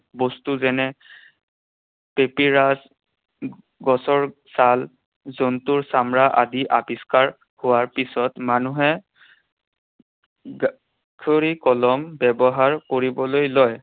বস্তু যেনে গছৰ ছাল, জন্তুৰ চামৰা আদি আৱিষ্কাৰ হোৱাৰ পিছত মানুহে কলম ব্যৱহাৰ কৰিবলৈ লয়।